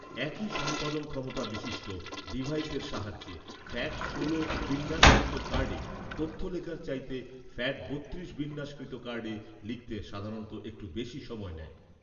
একই সম্পাদন ক্ষমতা বিশিষ্ট ডিভাইসের সাহায্যে "ফ্যাট ষোল" বিন্যাসকৃত কার্ডে তথ্য লেখার চাইতে "ফ্যাট বত্রিশ" বিন্যাসকৃত কার্ডে লিখতে সাধারণত একটু বেশি সময় নেয়